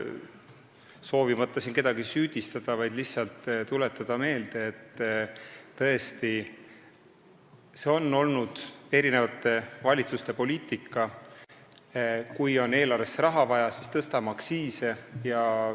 Soovimata siin kedagi süüdistada, ma lihtsalt tuletan meelde, et see on tõesti olnud erinevate valitsuste poliitika: kui on eelarvesse raha vaja, siis tõstame aktsiise.